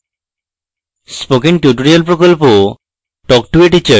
spoken tutorial প্রকল্প talk to a teacher প্রকল্পের অংশবিশেষ